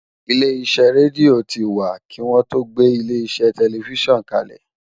Ilé iṣẹ́ rédíò ti wà kí wọ́n tó gbé ilé iṣẹ́ tẹlifísàn kalẹ̀